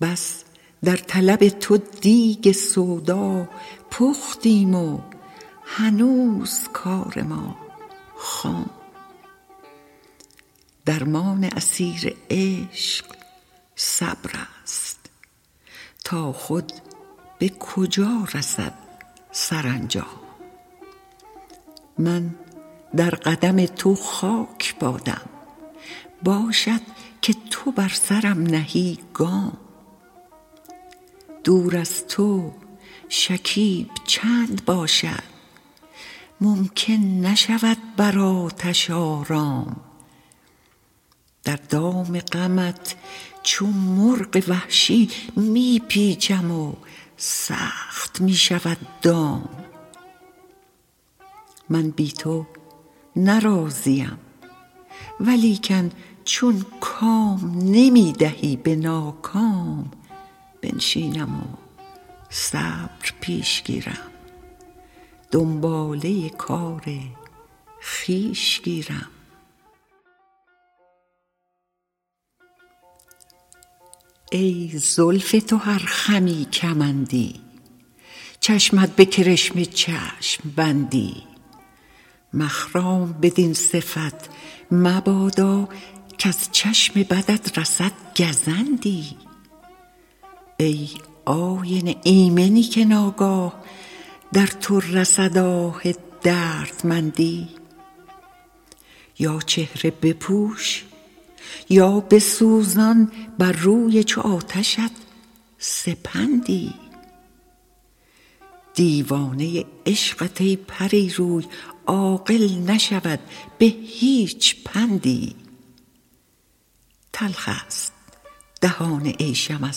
بس در طلب تو دیگ سودا پختیم و هنوز کار ما خام درمان اسیر عشق صبرست تا خود به کجا رسد سرانجام من در قدم تو خاک بادم باشد که تو بر سرم نهی گام دور از تو شکیب چند باشد ممکن نشود بر آتش آرام در دام غمت چو مرغ وحشی می پیچم و سخت می شود دام من بی تو نه راضیم ولیکن چون کام نمی دهی به ناکام بنشینم و صبر پیش گیرم دنباله کار خویش گیرم ای زلف تو هر خمی کمندی چشمت به کرشمه چشم بندی مخرام بدین صفت مبادا کز چشم بدت رسد گزندی ای آینه ایمنی که ناگاه در تو رسد آه دردمندی یا چهره بپوش یا بسوزان بر روی چو آتشت سپندی دیوانه عشقت ای پری روی عاقل نشود به هیچ پندی تلخ ست دهان عیشم از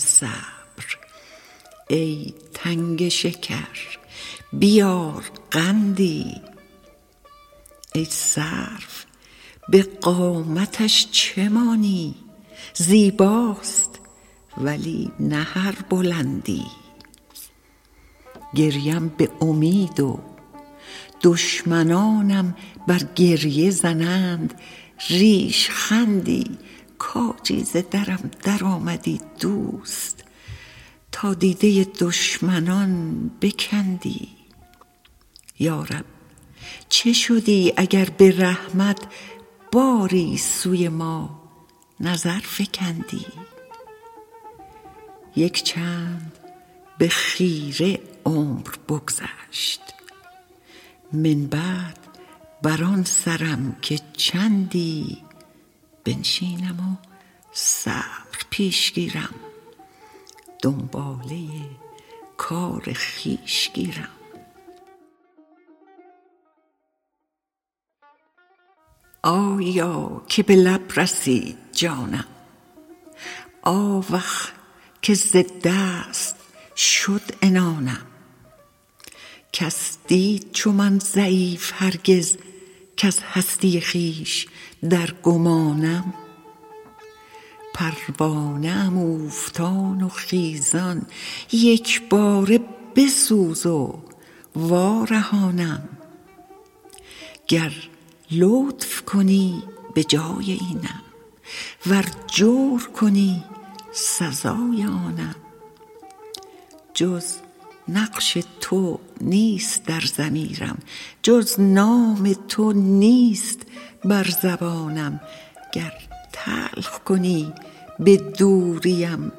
صبر ای تنگ شکر بیار قندی ای سرو به قامتش چه مانی زیباست ولی نه هر بلندی گریم به امید و دشمنانم بر گریه زنند ریشخندی کاجی ز درم درآمدی دوست تا دیده دشمنان بکندی یا رب چه شدی اگر به رحمت باری سوی ما نظر فکندی یک چند به خیره عمر بگذشت من بعد بر آن سرم که چندی بنشینم و صبر پیش گیرم دنباله کار خویش گیرم آیا که به لب رسید جانم آوخ که ز دست شد عنانم کس دید چو من ضعیف هرگز کز هستی خویش در گمانم پروانه ام اوفتان و خیزان یک باره بسوز و وارهانم گر لطف کنی به جای اینم ور جور کنی سزای آنم جز نقش تو نیست در ضمیرم جز نام تو نیست بر زبانم گر تلخ کنی به دوریم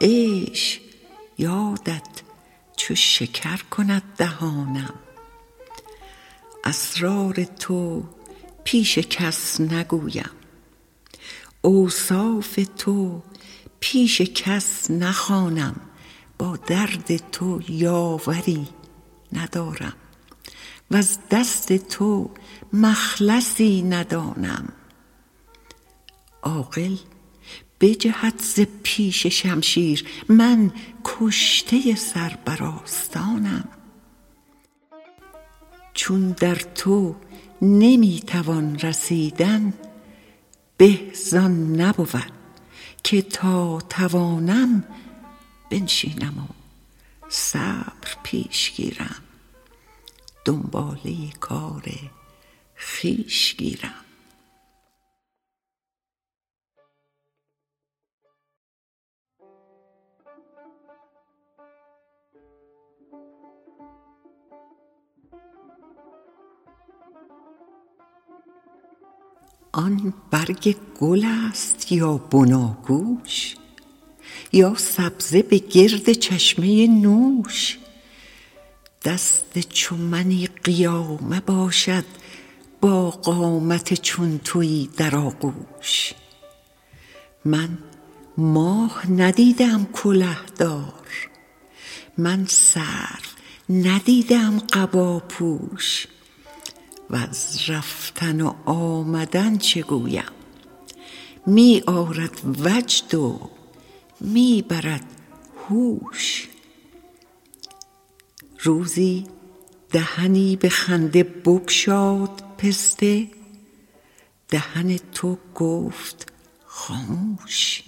عیش یادت چو شکر کند دهانم اسرار تو پیش کس نگویم اوصاف تو پیش کس نخوانم با درد تو یاوری ندارم وز دست تو مخلصی ندانم عاقل بجهد ز پیش شمشیر من کشته سر بر آستانم چون در تو نمی توان رسیدن به زآن نبود که تا توانم بنشینم و صبر پیش گیرم دنباله کار خویش گیرم آن برگ گل ست یا بناگوش یا سبزه به گرد چشمه نوش دست چو منی قیامه باشد با قامت چون تویی در آغوش من ماه ندیده ام کله دار من سرو ندیده ام قباپوش وز رفتن و آمدن چه گویم می آرد وجد و می برد هوش روزی دهنی به خنده بگشاد پسته دهن تو گفت خاموش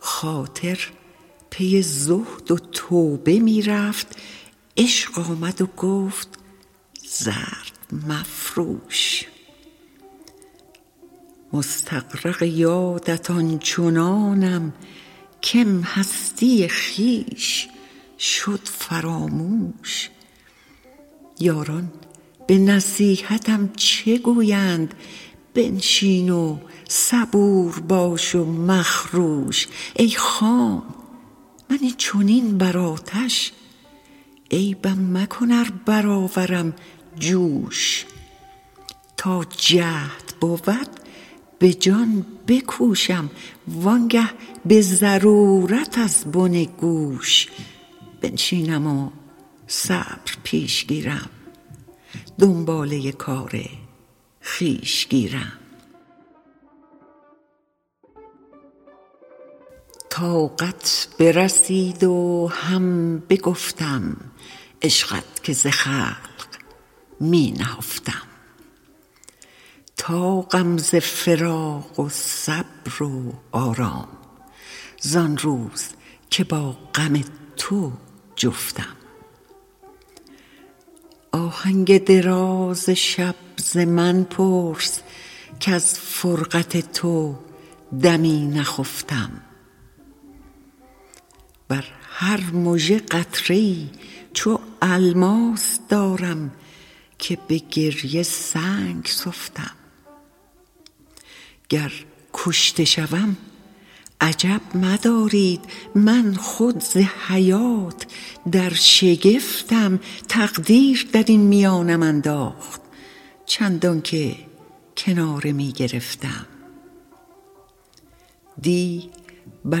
خاطر پی زهد و توبه می رفت عشق آمد و گفت زرق مفروش مستغرق یادت آن چنانم کم هستی خویش شد فراموش یاران به نصیحتم چه گویند بنشین و صبور باش و مخروش ای خام من این چنین بر آتش عیبم مکن ار برآورم جوش تا جهد بود به جان بکوشم وآن گه به ضرورت از بن گوش بنشینم و صبر پیش گیرم دنباله کار خویش گیرم طاقت برسید و هم بگفتم عشقت که ز خلق می نهفتم طاقم ز فراق و صبر و آرام زآن روز که با غم تو جفتم آهنگ دراز شب ز من پرس کز فرقت تو دمی نخفتم بر هر مژه قطره ای چو الماس دارم که به گریه سنگ سفتم گر کشته شوم عجب مدارید من خود ز حیات در شگفتم تقدیر درین میانم انداخت چندان که کناره می گرفتم دی بر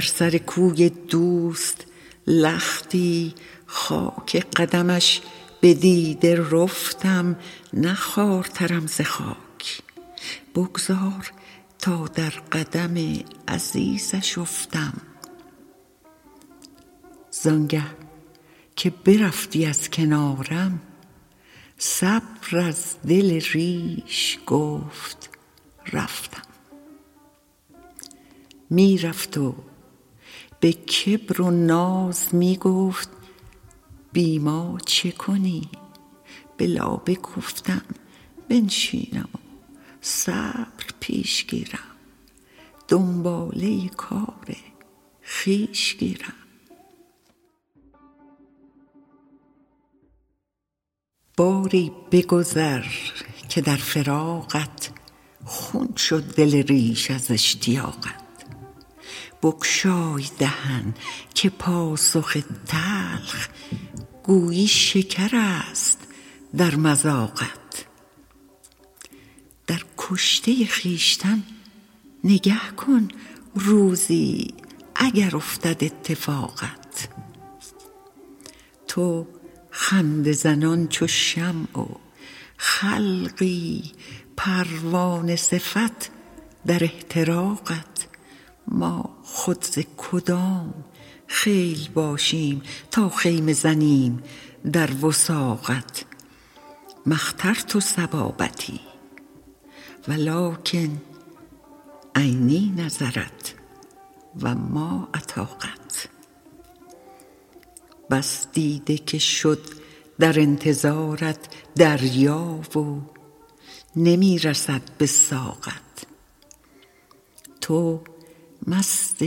سر کوی دوست لختی خاک قدمش به دیده رفتم نه خوارترم ز خاک بگذار تا در قدم عزیزش افتم زآن گه که برفتی از کنارم صبر از دل ریش گفت رفتم می رفت و به کبر و ناز می گفت بی ما چه کنی به لابه گفتم بنشینم و صبر پیش گیرم دنباله کار خویش گیرم باری بگذر که در فراقت خون شد دل ریش از اشتیاقت بگشای دهن که پاسخ تلخ گویی شکرست در مذاقت در کشته خویشتن نگه کن روزی اگر افتد اتفاقت تو خنده زنان چو شمع و خلقی پروانه صفت در احتراقت ما خود ز کدام خیل باشیم تا خیمه زنیم در وثاقت ما اخترت صبابتی ولکن عینی نظرت و ما اطاقت بس دیده که شد در انتظارت دریا و نمی رسد به ساقت تو مست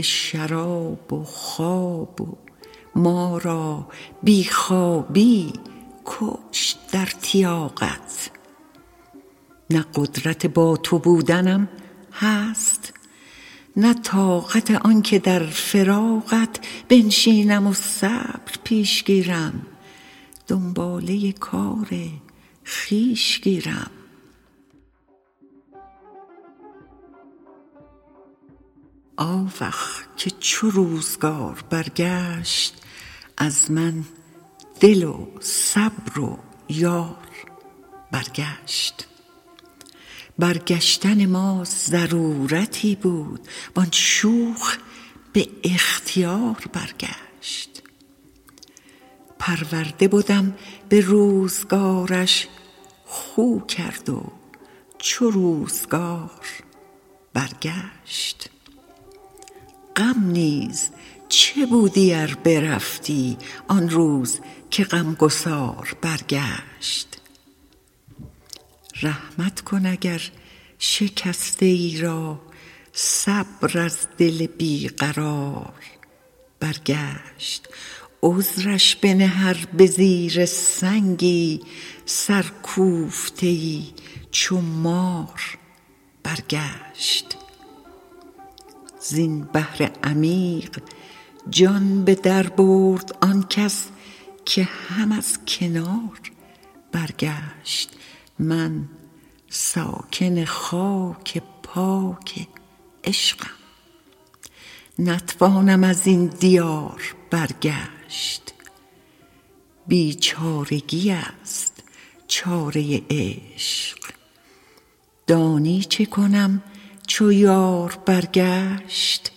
شراب و خواب و ما را بی خوابی بکشت در تیاقت نه قدرت با تو بودنم هست نه طاقت آن که در فراقت بنشینم و صبر پیش گیرم دنباله کار خویش گیرم آوخ که چو روزگار برگشت از من دل و صبر و یار برگشت برگشتن ما ضرورتی بود وآن شوخ به اختیار برگشت پرورده بدم به روزگارش خو کرد و چو روزگار برگشت غم نیز چه بودی ار برفتی آن روز که غم گسار برگشت رحمت کن اگر شکسته ای را صبر از دل بی قرار برگشت عذرش بنه ار به زیر سنگی سرکوفته ای چو مار برگشت زین بحر عمیق جان به در برد آن کس که هم از کنار برگشت من ساکن خاک پاک عشقم نتوانم ازین دیار برگشت بیچارگی ست چاره عشق دانی چه کنم چو یار برگشت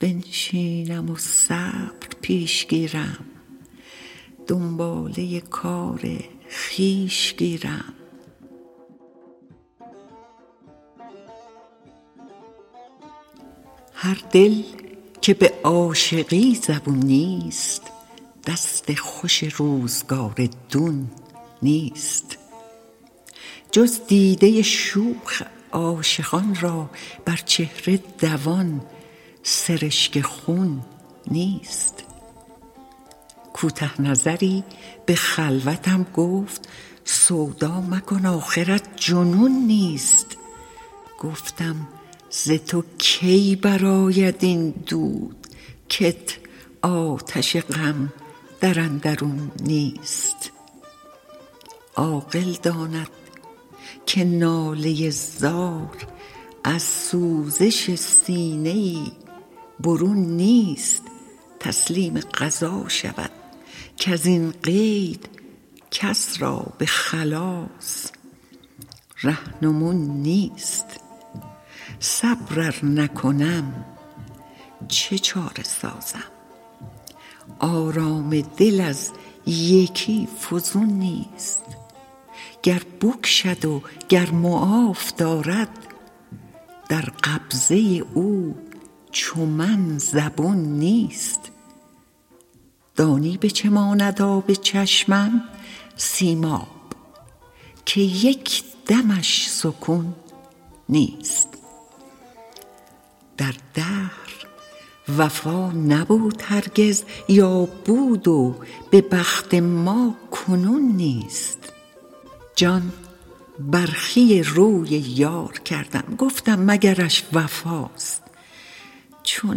بنشینم و صبر پیش گیرم دنباله کار خویش گیرم هر دل که به عاشقی زبون نیست دست خوش روزگار دون نیست جز دیده شوخ عاشقان را بر چهره دوان سرشک خون نیست کوته نظری به خلوتم گفت سودا مکن آخرت جنون نیست گفتم ز تو کی برآید این دود کت آتش غم در اندرون نیست عاقل داند که ناله زار از سوزش سینه ای برون نیست تسلیم قضا شود کزین قید کس را به خلاص رهنمون نیست صبر ار نکنم چه چاره سازم آرام دل از یکی فزون نیست گر بکشد و گر معاف دارد در قبضه او چو من زبون نیست دانی به چه ماند آب چشمم سیماب که یک دمش سکون نیست در دهر وفا نبود هرگز یا بود و به بخت ما کنون نیست جان برخی روی یار کردم گفتم مگرش وفاست چون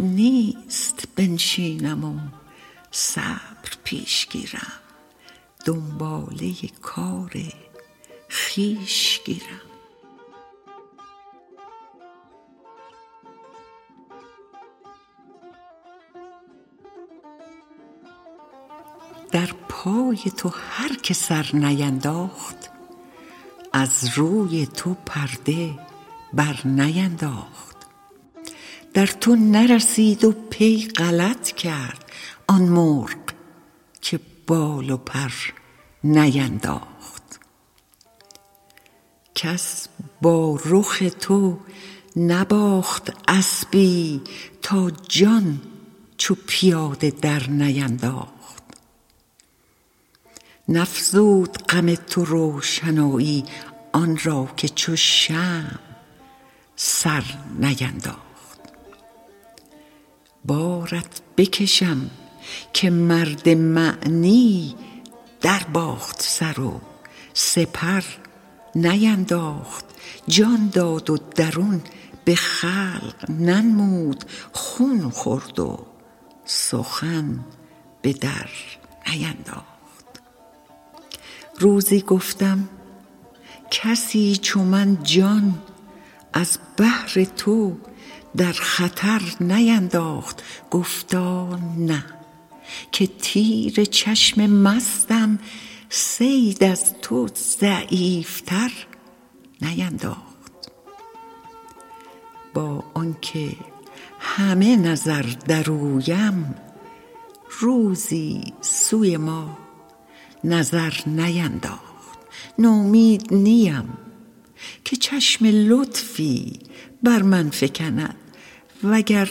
نیست بنشینم و صبر پیش گیرم دنباله کار خویش گیرم در پای تو هر که سر نینداخت از روی تو پرده بر نینداخت در تو نرسید و پی غلط کرد آن مرغ که بال و پر نینداخت کس با رخ تو نباخت اسبی تا جان چو پیاده در نینداخت نفزود غم تو روشنایی آن را که چو شمع سر نینداخت بارت بکشم که مرد معنی در باخت سر و سپر نینداخت جان داد و درون به خلق ننمود خون خورد و سخن به در نینداخت روزی گفتم کسی چو من جان از بهر تو در خطر نینداخت گفتا نه که تیر چشم مستم صید از تو ضعیف تر نینداخت با آن که همه نظر در اویم روزی سوی ما نظر نینداخت نومید نیم که چشم لطفی بر من فکند وگر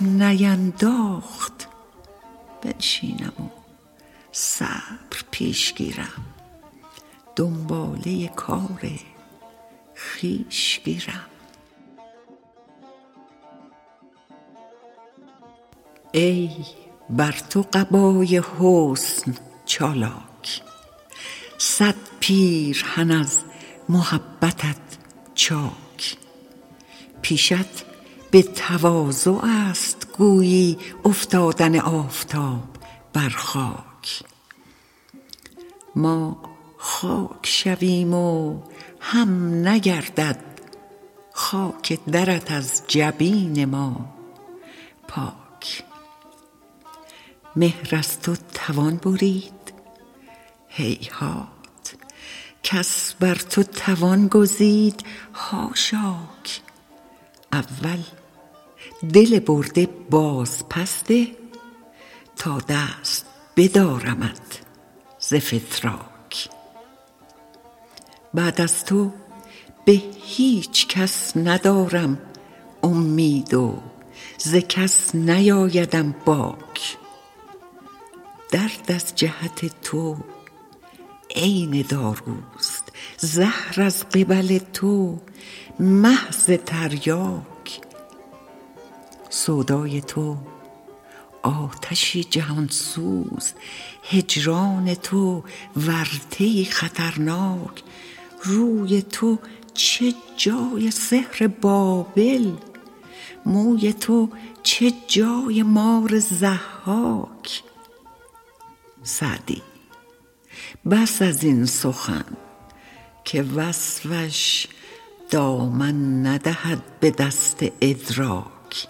نینداخت بنشینم و صبر پیش گیرم دنباله کار خویش گیرم ای بر تو قبای حسن چالاک صد پیرهن از محبتت چاک پیشت به تواضع ست گویی افتادن آفتاب بر خاک ما خاک شویم و هم نگردد خاک درت از جبین ما پاک مهر از تو توان برید هیهات کس بر تو توان گزید حاشاک اول دل برده باز پس ده تا دست بدارمت ز فتراک بعد از تو به هیچ کس ندارم امید و ز کس نیآیدم باک درد از جهت تو عین داروست زهر از قبل تو محض تریاک سودای تو آتشی جهان سوز هجران تو ورطه ای خطرناک روی تو چه جای سحر بابل موی تو چه جای مار ضحاک سعدی بس ازین سخن که وصفش دامن ندهد به دست ادراک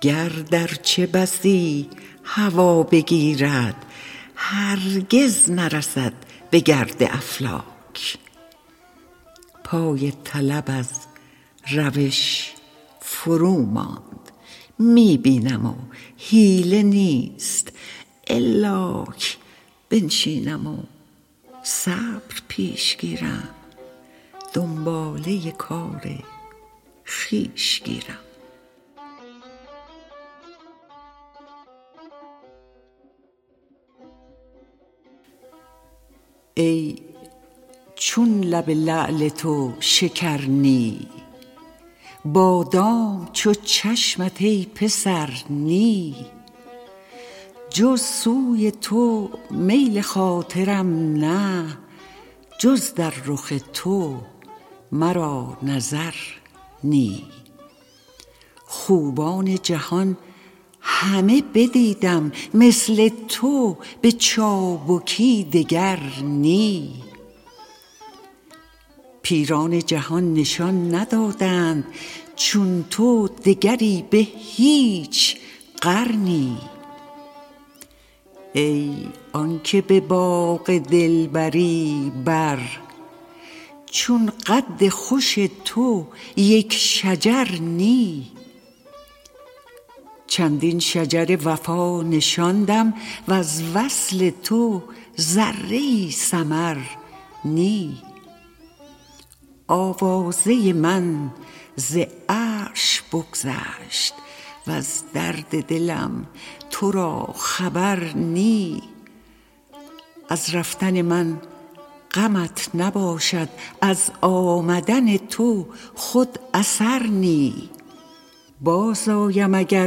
گرد ارچه بسی هوا بگیرد هرگز نرسد به گرد افلاک پای طلب از روش فرو ماند می بینم و حیله نیست الاک بنشینم و صبر پیش گیرم دنباله کار خویش گیرم ای چون لب لعل تو شکر نی بادام چو چشمت ای پسر نی جز سوی تو میل خاطرم نه جز در رخ تو مرا نظر نی خوبان جهان همه بدیدم مثل تو به چابکی دگر نی پیران جهان نشان ندادند چون تو دگری به هیچ قرنی ای آن که به باغ دلبری بر چون قد خوش تو یک شجر نی چندین شجر وفا نشاندم وز وصل تو ذره ای ثمر نی آوازه من ز عرش بگذشت وز درد دلم تو را خبر نی از رفتن من غمت نباشد از آمدن تو خود اثر نی باز آیم اگر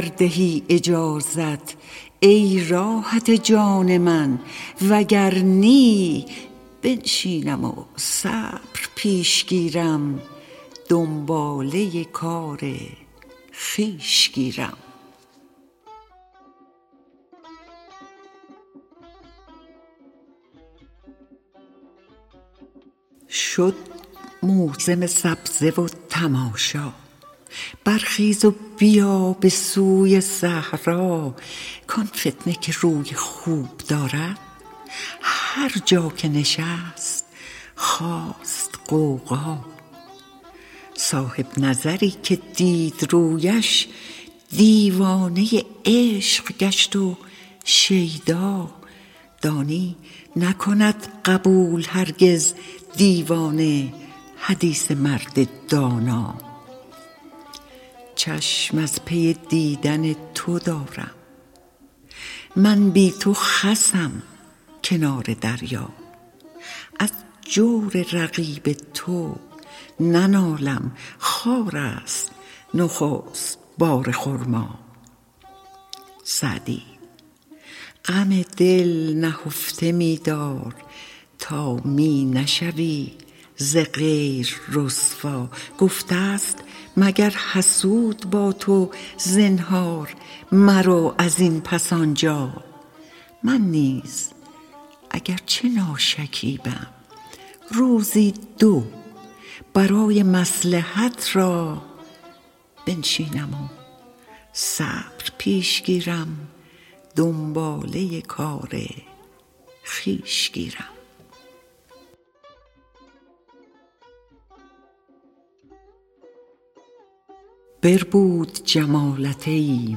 دهی اجازت ای راحت جان من وگر نی بنشینم و صبر پیش گیرم دنباله کار خویش گیرم شد موسم سبزه و تماشا برخیز و بیا به سوی صحرا کآن فتنه که روی خوب دارد هر جا که نشست خاست غوغا صاحب نظری که دید رویش دیوانه عشق گشت و شیدا دانی نکند قبول هرگز دیوانه حدیث مرد دانا چشم از پی دیدن تو دارم من بی تو خسم کنار دریا از جور رقیب تو ننالم خارست نخست بار خرما سعدی غم دل نهفته می دار تا می نشوی ز غیر رسوا گفته ست مگر حسود با تو زنهار مرو ازین پس آنجا من نیز اگر چه ناشکیبم روزی دو برای مصلحت را بنشینم و صبر پیش گیرم دنباله کار خویش گیرم بربود جمالت ای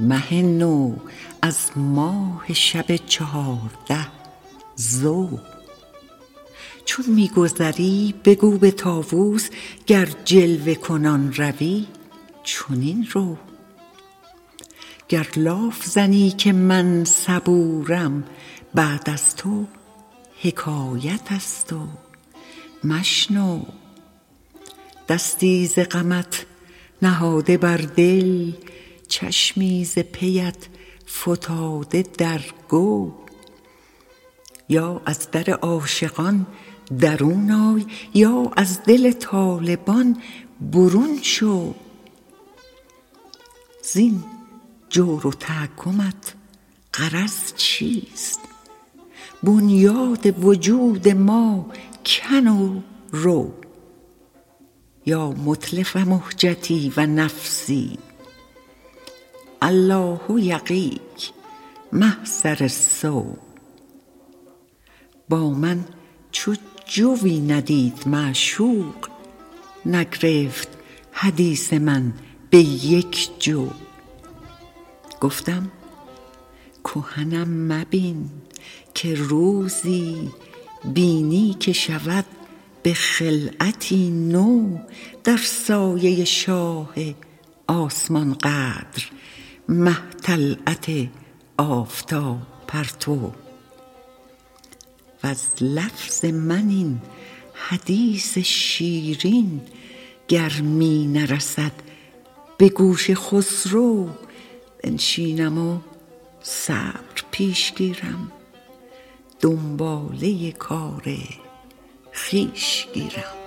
مه نو از ماه شب چهارده ضو چون می گذری بگو به طاوس گر جلوه کنان روی چنین رو گر لاف زنم که من صبورم بعد از تو حکایت ست و مشنو دستی ز غمت نهاده بر دل چشمی ز پیت فتاده در گو یا از در عاشقان درون آی یا از دل طالبان برون شو زین جور و تحکمت غرض چیست بنیاد وجود ما کن و رو یا متلف مهجتی و نفسی الله یقیک محضر السو با من چو جویی ندید معشوق نگرفت حدیث من به یک جو گفتم کهنم مبین که روزی بینی که شود به خلعتی نو در سایه شاه آسمان قدر مه طلعت آفتاب پرتو وز لفظ من این حدیث شیرین گر می نرسد به گوش خسرو بنشینم و صبر پیش گیرم دنباله کار خویش گیرم